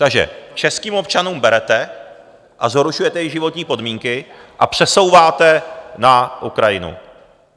Takže českým občanům berete a zhoršujete jejich životní podmínky a přesouváte na Ukrajinu.